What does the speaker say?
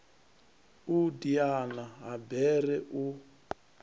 u diana ha bere u